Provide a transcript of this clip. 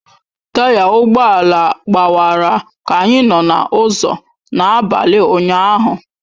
Taya ụgbọ ala gbawara ka anyị nọ n'ụzọ n'abalị ụnyahụ